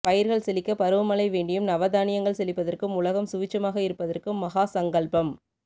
பயிர்கள் செழிக்க பருவமழை வேண்டியும் நவதானியங்கள் செழிப்பதற்கும் உலகம் சுவிட்சமாக இருப்பதற்கும் மகாசங்கல்பம்